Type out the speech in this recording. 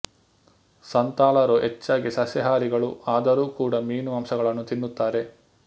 ಸಂತಾಲರು ಹೆಚ್ಚಾಗಿ ಸಸ್ಯಹಾರಿಗಳು ಆದರೂ ಕೂಡ ಮೀನು ಮಾಂಸಗಳನ್ನು ತಿನ್ನುತ್ತಾರೆ